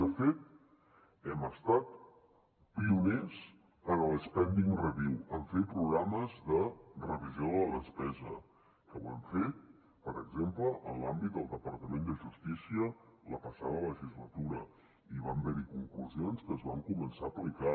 de fet hem estat pioners en l’spending review en fer programes de revisió de la despesa que ho hem fet per exemple en l’àmbit del departament de justícia la passada legislatura i van haver hi conclusions que es van començar a aplicar